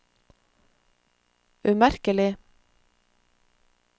umerkelig